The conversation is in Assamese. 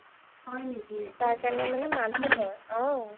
তাৰ কাৰণে মানে মানুহ লই অ